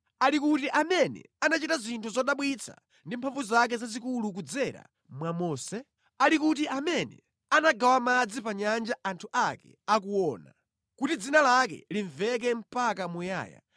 Ali kuti amene anachita zinthu zodabwitsa ndi mphamvu zake zazikulu kudzera mwa Mose? Ali kuti amene anagawa madzi pa nyanja anthu ake akuona, kuti dzina lake limveke mpaka muyaya,